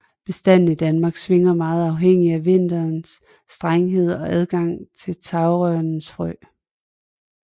Bestanden i Danmark svinger meget afhængigt af vintrenes strenghed og adgangen til tagrørenes frø